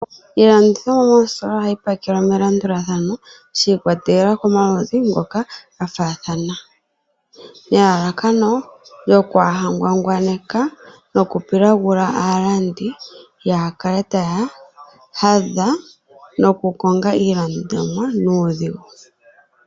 Iilandithomwa moositola ohayi pakelwa me landulathano shi ikwatelela komaludhi ngoka ga faathana, nelalakano lyokwaa ha ngwangwaneka noku pilagula aalandi ya kale taya hadha noku konga iilandomwa nuudhigu.